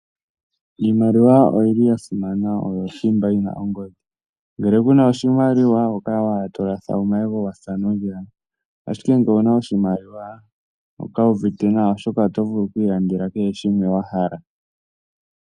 Iimaliwa oyi li ya simana, oyo thimba yi na ongodhi. Ngele ku na oshimaliwa oho kala owala to latha omayego wa sa nondjala, ashike ngele owu na oshimaliwa oho kala wu uvite nawa, oshoka oto vulu oku ilandela kehe shimwe wa hala.